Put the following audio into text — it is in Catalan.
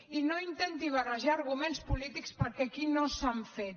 i no intenti barrejar arguments polítics perquè aquí no s’han fet